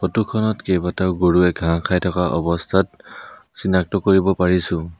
Photo খনত কেইবাটাও গৰুৱে ঘাঁহ খাই অৱস্থাত চিনাক্ত কৰিব পাৰিছোঁ।